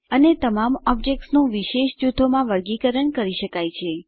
અને તમામ ઓબ્જેક્ત્સનું વિશેષ જૂથોમાં વર્ગીકરણ કરી શકાય છે